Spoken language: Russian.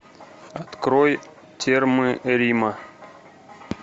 открой термы рима